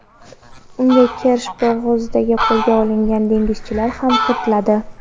Unga Kerch bo‘g‘ozida qo‘lga olingan dengizchilar ham kiritiladi.